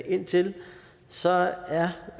ind til så er